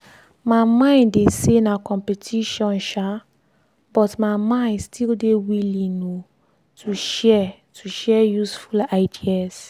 my mind dey say na competition um but my mind still dey willing um to share to share useful ideas.